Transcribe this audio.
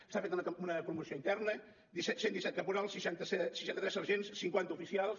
s’ha fet una promoció interna cent i disset caporals seixanta tres sergents cinquanta oficials